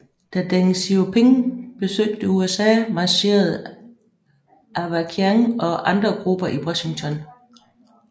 Da Deng Xiaoping besøgte USA marcherede Avakian og andre grupper i Washington